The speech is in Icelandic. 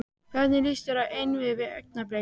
Hvernig lýst þér á einvígið við Augnablik?